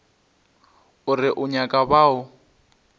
o re o nyaka bao